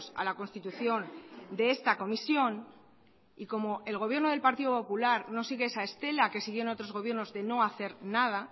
a la constitución de esta comisión y como el gobierno del partido popular no sigue esa estela que siguió en otros gobiernos de no hacer nada